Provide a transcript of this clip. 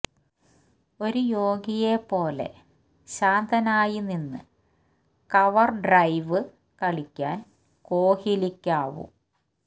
ഒരു യോഗിയെ പോലെ ശാന്തനായി നിന്ന് കവര്ഡ്രൈവ് കളിക്കാന് കോഹ് ലിക്കാവും